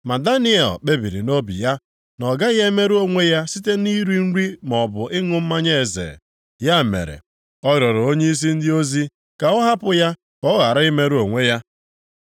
Ma Daniel kpebiri nʼobi ya na ọ gaghị emerụ onwe ya site nʼiri nri maọbụ ịṅụ mmanya eze. Ya mere ọ rịọrọ onyeisi ndị ozi ka ọ hapụ ya ka ọ ghara imerụ onwe ya.